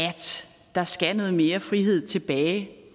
der skal noget mere frihed tilbage